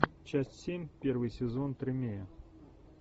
часть семь первый сезон тримей